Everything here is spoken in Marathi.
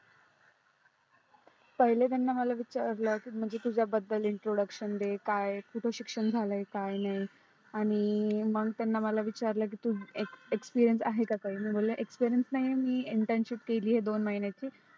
पहिल त्यांनी मला विचारला तुझ्या बद्दल introduction दे काय तुझ शिक्षण झालय काय नाही आणि मग त्यांनी मला विचारल कि तुझं expereience आहे का काही मी म्हणले expereience नाही internship केली आहे दोन महिन्याची